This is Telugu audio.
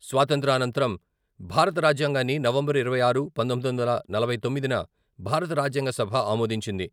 స్వాతంత్య్ర అనంతరం భారత రాజ్యాంగాన్ని నవంబరు ఇరవై ఆరు, పంతొమ్మిది వందల నలభై తొమ్మిదిన భారత రాజ్యాంగ సభ ఆమోదించింది.